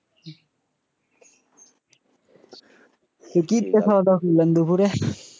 কি দিয়ে খাওয়া দাওয়া করলে দুপুরে,